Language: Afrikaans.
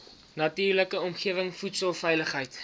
natuurlike omgewing voedselveiligheid